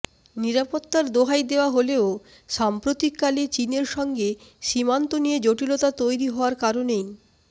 নিরাপত্তার দোহাই দেওয়া হলেও সাম্প্রতিক কালে চিনের সঙ্গে সীমান্ত নিয়ে জটিলতা তৈরি হওয়ার কারণেই